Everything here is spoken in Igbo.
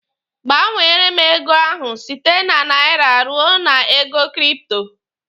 Gbanwere m ego ahụ site na naira ruo na ego kripto!